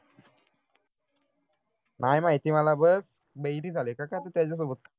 नाही माहिती मला बस बहिरी झाले का काय तेच सोबत